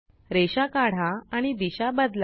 रेषा काढा आणि दिशा बदला